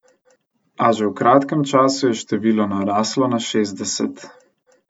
A že v kratkem času je število naraslo na šestdeset.